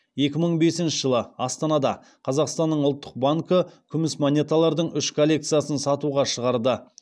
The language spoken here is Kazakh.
екі мың бесінші жылы астанада қазақстанның ұлттық банкі күміс монеталардың үш коллекциясын сатуға шығарды